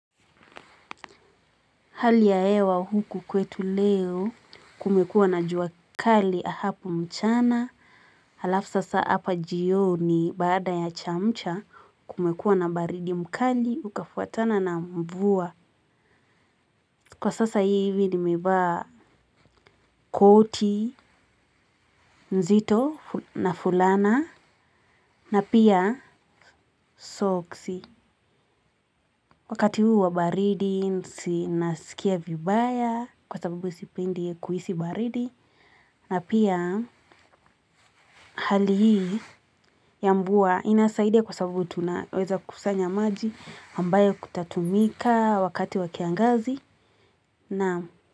Hali ya hewa huku kwetu leo kumekuwa na jua kali hapo mchana alafu sasa hapa jioni baada ya chamcha kumekuwa na baridi mkali ukafuatana na mvua. Kwa sasa hivi nimevaa koti nzito na fulana na pia soksi. Wakati huu wa baridi si nasikia vibaya kwa sababu sipendi kuhisi baridi. Na pia hali hii ya mvua inasaidia kwa sababu tunaweza kusanya maji ambayo kutatumika wakati wakiangazi.